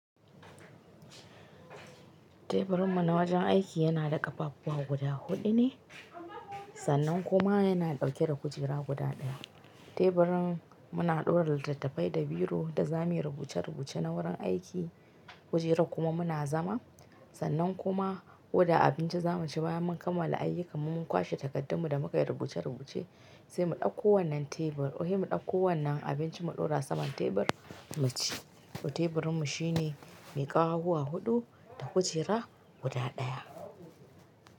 Teburin mu na wajen aiki yana da ƙafafuwa guda huɗu ne, sannan kuma yana ɗauke da kujera guda ɗaya. Teburin muna ɗore littattafai da biro da za mu yi rubuce-rubuce na wurin aiki, kujera kuma muna zama, sannan kuma oda abinci za mu ci bayan mun kammala ayyukan mun kwashe takardun mu da mu ka yi rubuce-rubuce sai mu ɗauko wannan tebur, wai mu ɗauko wannan abincin mu ɗora saman tebur mu ci. To teburin mu shi ne mai ƙafafuwa huɗu da kujera guda ɗaya.